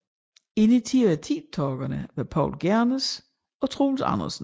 Initiativtagerene var Poul Gernes og Troels Andersen